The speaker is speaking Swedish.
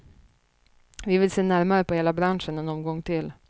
Vi vill se närmare på hela branschen en omgång till.